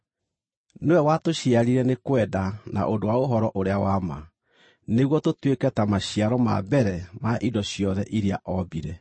Nĩwe watũciarire nĩ kwenda na ũndũ wa ũhoro-ũrĩa-wa-ma, nĩguo tũtuĩke ta maciaro ma mbere ma indo ciothe iria ombire.